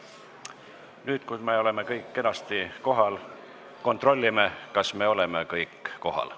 Nüüd, kui me oleme kõik kenasti kohal, kontrollime, kas me oleme kõik kohal.